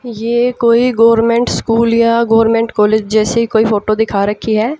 यह कोई government school या गोर्मेंट कॉलेज जैसी कोई फोटो दिखा रखी है।